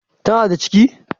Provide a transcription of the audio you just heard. Ta na da ciki?